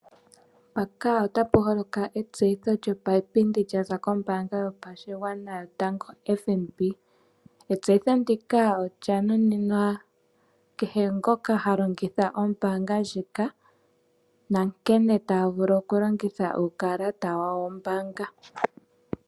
Mpaka otapu holoka etseyitho lyopayipindi lyaza koombaanga yopashigwana yotango-FNB. Etseyitho ndika olya nunimwa kehe ngoka ha longitha ombaanga ndjika nankene taa vulu okulongitha uukalata wawo wombaanga.